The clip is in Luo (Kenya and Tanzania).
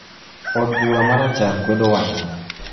Od bura ma Rachar kwedo wachno.